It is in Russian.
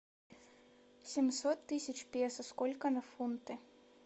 семьсот тысяч песо сколько на фунты